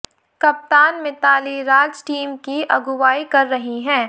कप्तान मिताली राज टीम की अगुवाई कर रही हैं